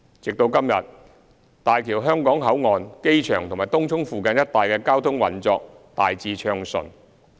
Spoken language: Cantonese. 至今，大橋香港口岸、機場及東涌附近一帶的交通運作大致暢順。